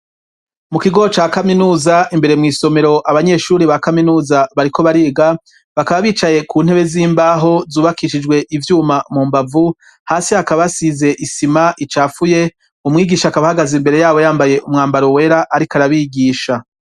Mu kigo ca Kaminuza imbere mw'isomero abanyeshuri ba kaminuza bariko bariga bakaba bicaye ku ntebe z'imbaho zubakishijwe ivyuma mu mbavu hasi hakaba asize isima icapfuye umwigisha akaba hagaza imbere yabo yambaye umwambaro wera ariko arabigisha.